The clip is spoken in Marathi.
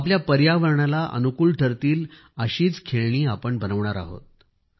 आपल्या पर्यावरणाला अनुकूल ठरतील अशीच खेळणी आपण बनविणार आहोत